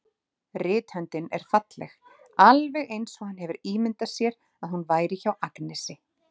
Rithöndin er falleg, alveg eins og hann hefur ímyndað sér að hún væri hjá Agnesi.